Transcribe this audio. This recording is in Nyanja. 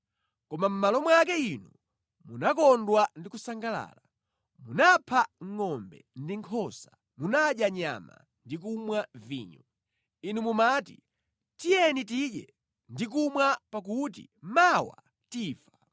Koma mʼmalo mwake inu munakondwa ndi kusangalala; munapha ngʼombe ndi nkhosa; munadya nyama ndi kumwa vinyo. Inu mumati, “Tiyeni tidye ndi kumwa pakuti mawa tifa!”